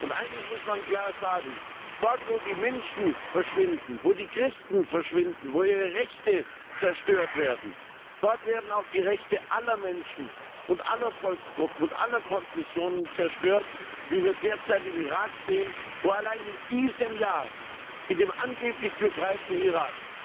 Und eines muss man klar sagen Dort wo die Menschen verschwinden, wo die Christen verschwinden, wo ihre Rechte zerstört werden, dort werden auch die Rechte aller Menschen und aller Volksgruppen und aller Konfessionen zerstört, wie wir derzeit im Irak sehen, wo allein in diesem Jahr in dem angeblich befreiten Irak